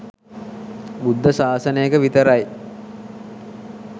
බුද්ධ ශාසනයක විතරයි